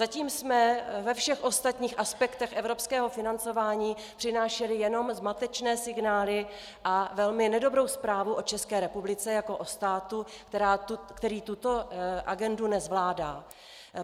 Zatím jsme ve všech ostatních aspektech evropského financování přinášeli jenom zmatečné signály a velmi nedobrou zprávu o České republice jako o státu, který tuto agendu nezvládá.